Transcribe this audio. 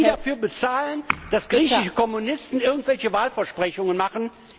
Sollen die dafür bezahlen, dass griechische Kommunisten irgendwelche Wahlversprechungen machen?